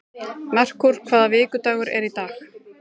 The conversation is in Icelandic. Merkúr, hvaða vikudagur er í dag?